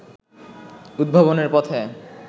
উদ্ভাবনের পথে